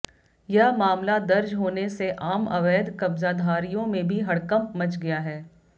यह मामला दर्ज होने से आम अवैध कब्जाधारियों में भी हड़कंप मच गया है